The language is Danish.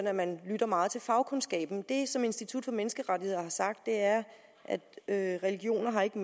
at man lytter meget til fagkundskaben det som institut for menneskerettigheder har sagt er at religioner ikke